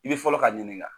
I bɛ fɔlɔ ka ɲininka